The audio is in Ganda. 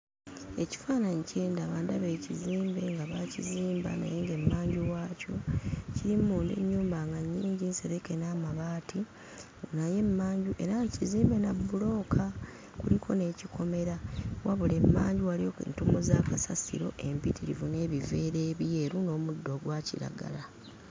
Ekifaananyi kye ndaba, ndaba ekizimbe nga baakizimba naye ng'emmanju waakyo kirimu munda ennyumba nga nnyingi, nsereke n'amabaati naye emmanju era nga kizimbe na bbulooka; kuliko n'ekikomera wabula emmanju waliyo entuumu za kasasiro empitirivu n'ebiveera ebyeru n'omuddo ogwa kiragala.